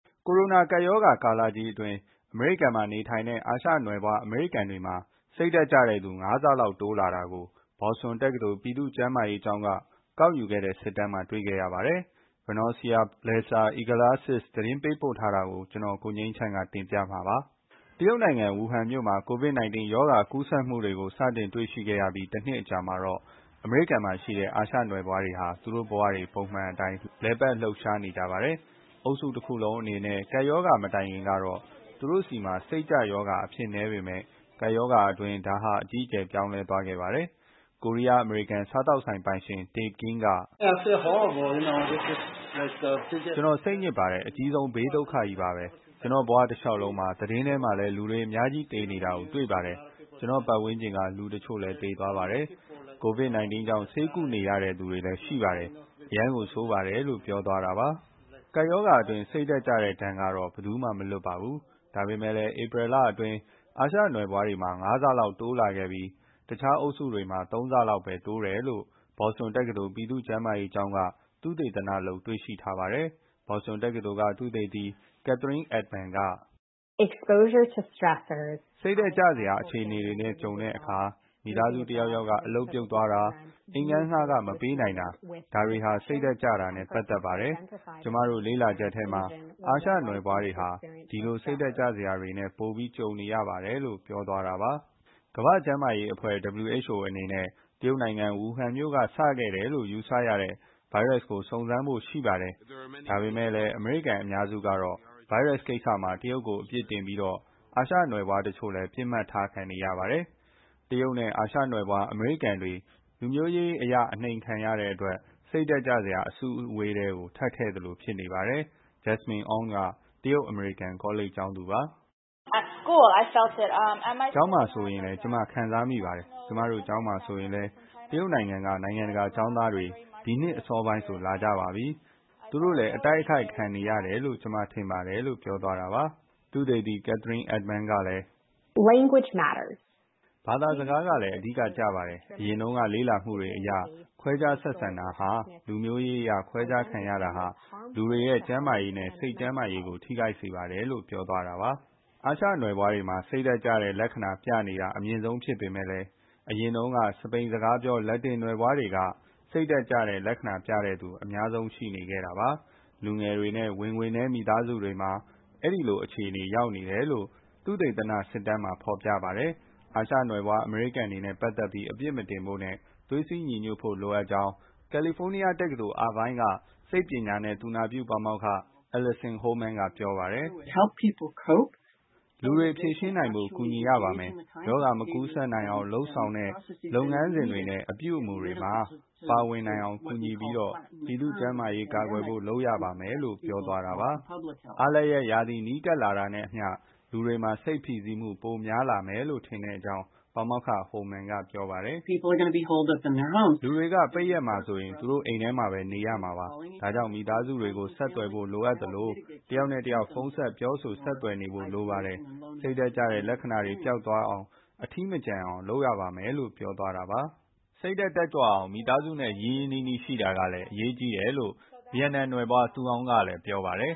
ကိုရိုနာ ကပ်ရောဂါကာလကြီးအတွင်း အမေရိကန်မှာနေထိုင်တဲ့ အာရှနွယ်ဖွား အမေရိကန်တွေမှာ စိတ်ကျတဲ့သူ ငါးဆလောက်တိုးလာတာကို ဘော်စတွန်တက္ကသိုလ် ပြည်သူ့ကျန်းမာရေးကျောင်းက ကောက်ယူခဲ့တဲ့ စစ်တမ်းမှာ တွေ့ခဲ့ရပါတယ်။ Vernoica Balderas Iglesiss သတင်းပေးပို့ထားတာကို ကိုငြိမ်းချမ်း တင်ပြထားပါတယ်။ တရုတ်နိုင်ငံ ဝူဟန်မြို့မှာ COVID-19 ရောဂါ ကူးစက်မှုတွေကို တွေ့ရှိခဲ့ပြီး တနှစ်အကြာမှာ အမေရိကန်မှာရှိတဲ့ အာရှနွယ်ဖွားတွေဟာ သူတို့ဘဝတွေ ပုံမှန်အတို်င်း လည်ပတ်လှုပ်ရှားနေကြပါတယ်။ အုပ်စုတခုလုံးအနေနဲ့ ကပ်ရောဂါ မတိုင်ခင်ကတော့ သူတို့ဆီမှာ စိတ်ကျရောဂါ အဖြစ်နည်းပေမယ့် ကပ်ရောဂါအတွင်း ဒါဟာ အကြီးအကျယ် ပြောင်းလဲသွားခဲ့ပါတယ်။ ကိုရီးယား-အမေရိကန် စားသောက်ဆိုင်ပိုင်ရှင် Tae Kim က... “ကျနော် စိတ်ညစ်ပါတယ်။ အကြီးဆုံး ဘေးဒုက္ခကြီးပါပဲ။ ကျနော့်ဘဝတလျှောက်လုံးမှာ သတင်းထဲမှာလည်း လူတွေအများကြီး သေနေတာကို တွေ့ပါတယ်။ ကျနော့်ပတ်ဝန်းကျင်က လူတချို့လည်း သေသွားပါတယ်။ COVID-19 ကြောင့် ဆေးကုနေရတဲ့သူတွေလည်း ရှိပါတယ်။ အရမ်းကိုဆိုးပါတယ်” လို့ ပြောသွားတာပါ။ ကပ်ရောဂါအတွင်း စိတ်ဓာတ်ကျတဲ့ဒဏ်ကတော့ ဘယ်သူမှ မလွတ်ပါဘူး။ ဒါပေမယ့်လည်း ဧပြီလအတွင်းက အာရှနွယ်ဖွားတွေမှာ ငါးဆလောက်တိုးလာပြီး တခြားအုပ်စုတွေမှာ သုံးဆလောက်ပဲ တိုးတယ်လို့ ဘော်စတွန်တက္ကသိုလ် ပြည်သူ့ကျန်းမာရေးကျောင်းက သုတေသနလုပ် တွေ့ရှိထားပါတယ်။ ဘော်စတွန်တက္ကသိုလ်က သုတေသီ Catherine Ettman က အခုလိုပြောပါတယ်။ “စိတ်ဓာတ်ကျစရာ အခြေအနေတွေနဲ့ ကြုံတဲ့အခါ မိသားစုတယောက်ယောက်က အလုပ်ပြုတ်သွားတာ၊ အိမ်ငှားခ မပေးနိုင်တာ၊ ဒါတွေဟာ စိတ်ဓာတ်ကျတာနဲ့ ပတ်သက်ပါတယ်။ ကျမတို့ လေ့လာချက်ထဲမှာ အာရှနွယ်ဖွားတွေဟာ အဲ့ဒီလို စိတ်ဓာတ်ကျစရာတွေနဲ့ ပိုပြီးကြုံနေရပါတယ်။” ကမ္ဘာ့ကျန်းမာရေးအဖွဲ့ အနေနဲ့ တရုတ်နိုင်ငံ ဝူဟန်မြို့က စခဲ့တယ်လို့ ယူဆရတဲ့ ဗိုင်းရပ်စ်ကို စုံစမ်းဖို့ရှိပါတယ်။ ဒါပေမယ့် အမေရိကန် အများစုက ဗိုင်းရပ်စ်ကိစ္စမှာ တရုတ်ကို အပြစ်တင်ပြီးတော့ အာရှနွယ်ဖွားတချို့ ပစ်မှတ်ထားခံရပါတယ်။ တရုတ်နဲ့ အာရှနွယ်ဖွား အမေရိကန်တွေ လူမျိုးရေးအရ နှိမ်တဲ့အတွက် စိတ်ဓာတ်ကျစရာ အစုအဝေးထဲ ထပ်ထည့်သလို ဖြစ်နေပါတယ်။ Jasminn Ong က တရုတ်-အမေရိကန် ကောလိပ်ကျောင်းသူပါ။ “ကျောင်းမှာဆိုရင်လည်း ကျမခံစားမိပါတယ်။ ကျမတို့ကျောင်းမှာဆိုရင်လည်း တရုတ်က နိုင်ငံတကာ ကျောင်းသားတွေ ဒီနှစ်အစောပိုင်းဆို လာကြပါပြီ။ သူတို့လည်း အတိုက်အခိုက် ခံနေရတယ်လို့ ကျမထင်ပါတယ်။” လို့ Jasminn Ong က ပြောပါတယ်။ သုတေသီ Catherine Ettman ကလည်း... “ဘာသာစကားကလည်း အဓိကကျပါတယ်။ အရင်တုန်းက လေ့လာမှုတွေအရ ခွဲခြားဆက်ဆံတာဟာ လူမျိုးရေးအရ ခွဲခြားခံရတာဟာ လူတွေရဲ့ ကျန်းမာရေးနဲ့ စိတ်ကျန်းမားရေးကို ထိခိုက်စေပါတယ်။” လို့ ပြောသွားတာပါ။ အာရှနွယ်ဖွားတွေမှာ စိတ်ကျတဲ့လက္ခဏာ ပြနေတာ အမြင့်ဆုံးဖြစ်ပေမယ့် စပိန်စကားပြော လက်တင်နွယ်ဖွားတွေကတော့ စိတ်ကျတဲ့လက္ခဏာ ပြတဲ့သူ ၃၄ ရာခိုင်နှုန်း အများဆုံးရှိနေတာပါ။ လူငယ်တွေနဲ့ ဝင်ငွေနည်း မိသားစုတွေမှာ အဲ့ဒီလိုအခြေအနေ ရောက်နေတယ်လို့ သုတေသီရဲ့စစ်တမ်းမှာ ဖော်ပြပါတယ်။ အာရှနွယ်ဖွား အမေရိကန်တွေနဲ့ ပတ်သက်ပြီး အပြစ်မတင်ဖို့နဲ့ သွေးစည်းညီညွတ်ဖို့ လိုအပ်ကြောင်း ကယ်လီဖိုးနီးယားတက္ကသိုလ် Irvine က စိတ်ပညာနဲ့ သူနာပြုပါမောက္ခ Alison Holman က ပြောပါတယ်။ “လူတွေ ဖြေရှင်းနိုင်ဖို့ ကူညီရပါမယ်။ ရောဂါမကူးစက်အောင် လုပ်ဆောင်တဲ့ လုပ်ငန်းစဉ်တွေနဲ့ အပြုအမူတွေမှာ ပါဝင်နိုင်အောင် လုပ်ပြီးတော့ ပြည်သူ့ကျန်းမာရေးကို ကာကွယ်ဖို့ လုပ်ရပါမယ်။” လို့ ပြောသွားတာပါ။ အားလပ်ရက်ရာသီ နီးကပ်လာတာနဲ့အမျှ လူတွေမှာ စိတ်ဖိစီးမှု ပိုများလာမယ်ထင်ကြောင်း ပါမောက္ခ Holman က ပြောပါတယ်။ “လူတွေက ပိတ်ရက်ဆို သူတို့အိမ်မှာပဲ နေရမှာပါ။ ဒါကြောင့် မိသားစုတွေ ဆက်သွယ်နေဖို့ လိုအပ်သလို တယောက်နဲ့တယောက် ဖုန်းဆက် ပြောဆို ဆက်သွယ်နေဖို့ လိုပါတယ်။ စိတ်ဓာတ်ကျတဲ့ လက္ခဏာတွေ ပျောက်သွားအောင်၊ အထီးမကျန်အောင် လုပ်ရပါမယ်။” စိတ်ဓာတ်တက်ကြွအောင် မိသားစုနဲ့ ရင်းရင်းနှီးနှီး ရှိတာကလည်း အရေးကြီးတယ်လို့ ဗီယက်နမ်နွယ်ဖွား Thu Ung က လည်း ပြောပါတယ်